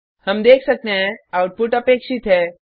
हम देख सकते हैं आउटपुट अपेक्षित है